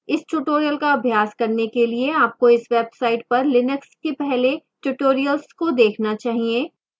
इस tutorial का अभ्यास करने के लिए आपको इस website पर लिनक्स के पहले tutorials को देखना चाहिए